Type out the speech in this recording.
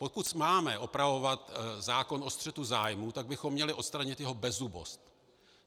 Pokud máme opravovat zákon o střetu zájmů, tak bychom měli odstranit jeho bezzubost.